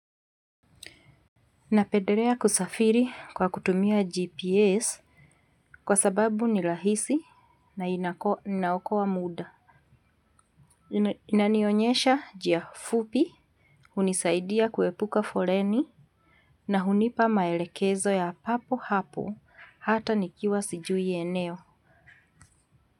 Napedelea kusafiri kwa kutumia GPS kwa sababu ni lahisi na inaokowa muda. Inanionyesha jia fupi, unisaidia kuepuka foleni na hunipa maelekezo ya papo hapo hata nikiwa sijui eneo.